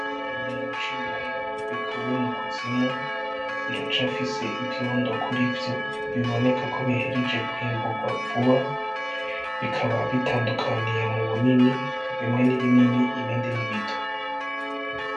Ikirundo c'ibiraya bikuwe mukuzimu, biracafise ivyondo kurivyo , bibonekako bihejeje kwimburwa vuba , bikaba butandukaniye mubunini, bimwe n'ibinini ibindi ni bito .